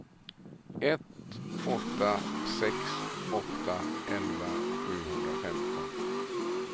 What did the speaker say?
ett åtta sex åtta elva sjuhundrafemton